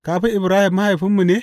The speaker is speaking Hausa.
Ka fi Ibrahim mahaifinmu ne?